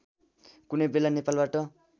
कुनै बेला नेपालबाट